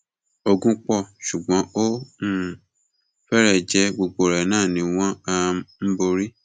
ogun pọ ṣùgbọn ó um fẹrẹ jẹ gbogbo ẹ náà ni wọn um ń borí